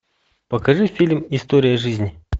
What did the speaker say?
покажи фильм история жизни